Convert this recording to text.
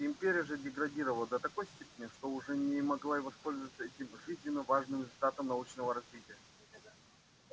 империя же деградировала до такой степени что уже не могла и воспользоваться этим жизненно важным результатом научного развития